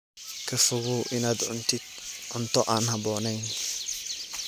Ka fogow inaad cuntid cunto aan habboonayn.